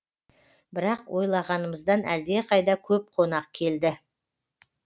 бірақ ойлағанымыздан әлдеқайда көп қонақ келді